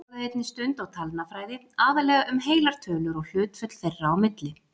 Þeir lögðu einnig stund á talnafræði, aðallega um heilar tölur og hlutföll þeirra á milli.